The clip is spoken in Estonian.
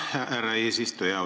Aitäh, härra eesistuja!